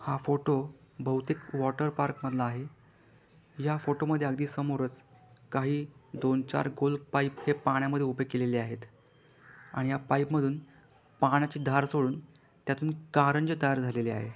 हा फोटो बहुतेक water park मधला आहे या फोटो मध्ये अगदी समोरच काही दोन चार गोल पाइप हे पाण्या मध्ये उभे केलेले आहेत आणि या पाइप मधून पाण्याची धार सोडून त्यातून कारंजे तयार झालेले आहे.